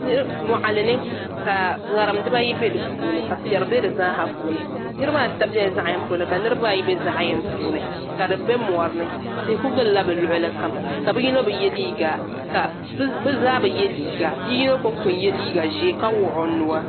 Moɣali ni ka ŋarim dibaayi bɛ di puuni ka piɛri bɛ di zaaha puuni niraba ata biɛla zaɣ gaŋ puuni ka niraba ayi bɛ zaɣ yini puuni ka di bɛ mori ni tihi ku gilla bi luɣuli kam ka bi zaa bi yɛ liiga nia yino konko n yɛ liiga ʒiɛ ka wuhi o nuwa